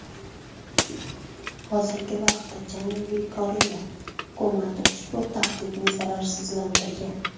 Hozirgi vaqtda Janubiy Koreya hukumati ushbu tahdidni zararsizlantirgan.